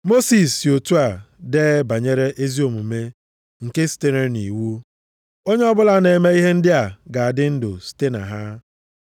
Mosis si otu a dee banyere ezi omume nke sitere nʼiwu, “Onye ọbụla na-eme ihe ndị a ga-adị ndụ site na ha.” + 10:5 \+xt Lev 18:5\+xt*